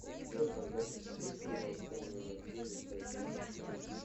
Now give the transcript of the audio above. у тебя в загашнике есть сериал темные материи часть двадцать восемь